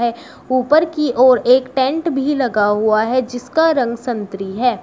ऊपर की ओर एक टेंट भी लगा हुआ है जिसका रंग संत्री है।